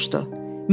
Elen soruşdu.